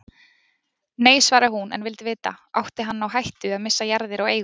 Nei, svaraði hún en vildi vita: Átti hann á hættu að missa jarðir og eigur?